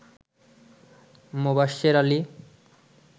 Mobashwer Ali